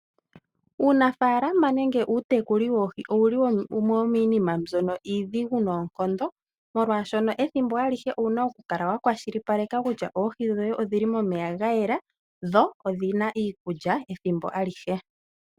Uunafaalama nenge uutekuli woohi owuli wumwe womiinima mbyono iidhigu noonkondo, molwaashoka ethimbo alihe owuna okukala wa kwashilipaleka kutya oohi dhoye odhili momeya gayela, dho odhina iikulya ethimbo alihe.